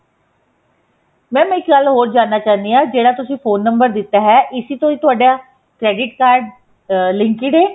mam ਇੱਕ ਗੱਲ ਹੋਰ ਜਾਨਣਾ ਚਾਹੁੰਦੀ ਹਾਂ ਜਿਹੜਾ ਤੁਸੀਂ ਫੋਨ ਨੰਬਰ ਦਿੱਤਾ ਹੈ ਇਸੀ ਤੋਂ ਤੁਹਾਡਾ credit card linked ਏ